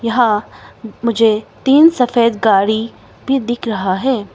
यहां मुझे तीन सफेद गाड़ी भी दिख रहा है।